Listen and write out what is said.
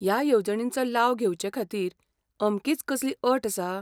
ह्या येवजणींचो लाव घेवचेखातीर अमकीच कसलीअट आसा?